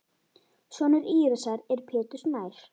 Sonur Írisar er Pétur Snær.